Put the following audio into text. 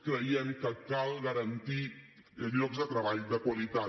creiem que cal garantir llocs de treball de qualitat